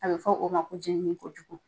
A bɛ fɔ o ma ko jɛnini kojugu